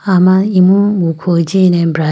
ama imu wukho jine bray.